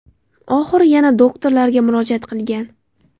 Oxiri yana doktorlarga murojaat qilgan.